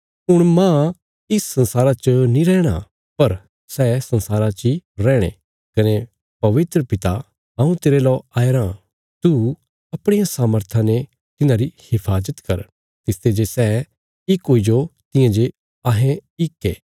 हुण मांह इस संसारा च नीं रैहणा पर सै संसारा ची रैहणे कने पवित्र पिता हऊँ तेरे लौ आया रां तू अपणिया सामर्था ने तिन्हांरी हिफाजत कर तिसते जे सै इक हुईजो तियां जे अहें इक ये